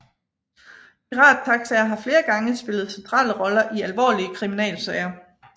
Pirattaxaer har flere gange spillet centrale roller i alvorlige kriminalsager